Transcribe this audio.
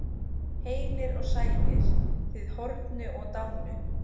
Heilir og sælir, þið horfnu og dánu.